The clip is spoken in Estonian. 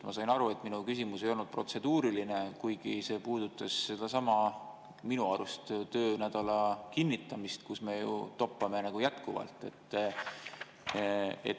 Ma sain aru, et minu küsimus ei olnud protseduuriline, kuigi see puudutas sedasama – minu arust – töönädala kinnitamist, kus me jätkuvalt toppame.